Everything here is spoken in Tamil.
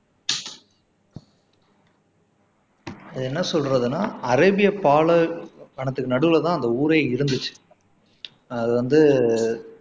இதை என்ன சொல்றதுன்னா அரேபிய பாலைவனத்துக்கு நடுவுல தான் அந்த ஊரே இருந்திச்சு அது வந்து